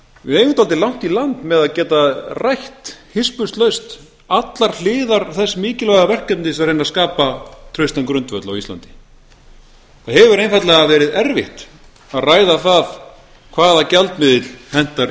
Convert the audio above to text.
við eigum dálítið langt í land með að geta rætt hispurslaust allar hliðar þess mikilvæga verkefnis að reyna að skapa traustan grundvöll á íslandi það hefur einfaldlega verið erfitt að ræða það hvaða gjaldmiðill hentar